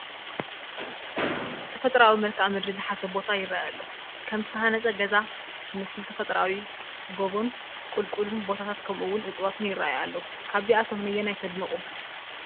ተፈጥራኣዊ መልክኣ ምድሪ ዝሓዘ ቦታ ይረአ ኣሎ፡፡ ከም ዝተሃነፀ ገዛ ዝመስል ተፈጥራኣዊ ጎቦን ቁልቁል ቦታታትን ከምኡ ውን እፀዋትን ይራኣዩ ኣለው፡፡ ካብዚኣቶም ነየናይ ተድንቑ?